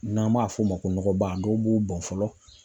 N'an b'a f'o ma ko nɔgɔba dɔw b'u bɔn fɔlɔ.